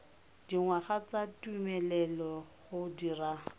dingwaga tsa tumelelo go dira